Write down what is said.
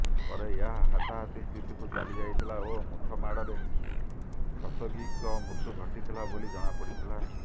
ପରେ ଏହା ହାତାହାତି ସ୍ଥିତିକୁ ଚାଲିଯାଇଥିଲା ଓ ମୁଥ ମାଡ଼ରେ ଖସୋଗୀଙ୍କ ମୃତ୍ୟୁ ଘଟିଥିଲା ବୋଲି ଜଣାପଡ଼ିଥିଲା